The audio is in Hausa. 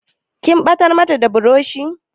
Kin ɓatar mata da burushi?